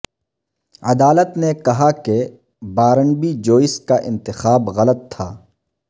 عدالت نے کہا کہ بارنبی جوئس کا انتخاب غلط تھا